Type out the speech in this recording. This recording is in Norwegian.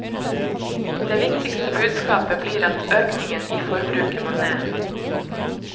Det viktigste budskapet blir at økningen i forbruket må ned.